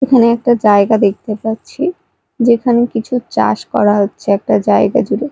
এখানে একটা জায়গা দেখতে পাচ্ছি যেখানে কিছু চাষ করা হচ্ছে একটা জায়গা জুড়ে।